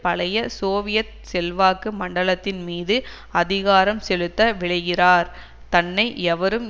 பழைய சோவியத் செல்வாக்கு மண்டலத்தின்மீது அதிகாரம் செலுத்த விழைகிறார் தன்னை எவரும்